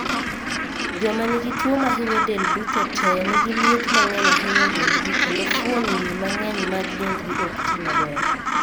Joma nigi tuo mahinyo del duto tee nigi liet mang'eny ahinya e dendgi kendo fuonni mang'eny mag dendgi ok ti maber.